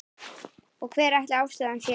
Og hver ætli ástæðan sé?